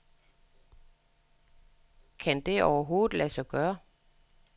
Kan det overhovedet lade sig gøre?